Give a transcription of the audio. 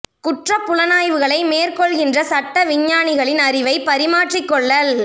குற்றப் புலனாய்வுகளை மேற் கொள்கின்ற சட்ட விஞ்ஞானிகளின் அறிவை பரிமாற்றிக் கொள்ளல்